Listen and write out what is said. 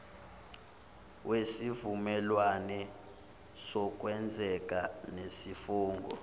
wesivumelwane sokweseka nesifungo